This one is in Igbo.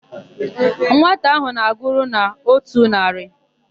Nwata áhụ̀ na-agụru n'ótù narị.